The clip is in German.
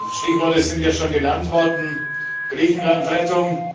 Stichworte sind ja schon genannt worden Griechenland Rettung.